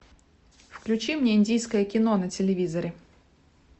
включи мне индийское кино на телевизоре